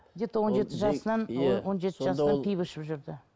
где то он жеті жасынан он жеті жасынан пиво ішіп жүрді